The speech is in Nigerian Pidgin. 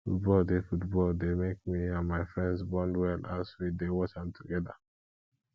football dey football dey make me and my friends bond well as we dey watch am together